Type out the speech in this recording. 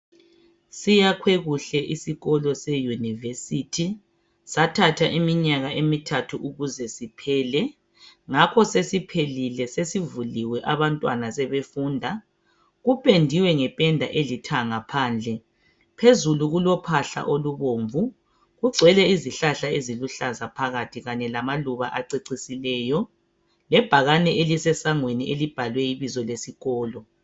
Siyakhwe kuhle isikolo seUniversity sathatha iminyaka emithathu ukuze siphele ngakho sesiphelile sesivuliwe abantwana sebefunda kupendiwe ngependa elithanga phandle phezulu kulo phahla olubomvu kugcwele izihlahla eziluhlaza phakathi kanye lamaluba acecisileyo lebhakane elisesangweni elibhalwe ibizo lesikolo.